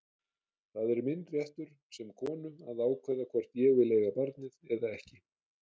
Það er minn réttur sem konu að ákveða hvort ég vil eiga barnið eða ekki.